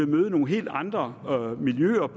møde nogle helt andre miljøer